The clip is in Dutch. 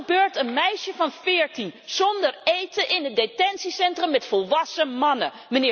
Wat gebeurt een meisje van veertien zonder eten in een detentiecentrum met volwassen mannen?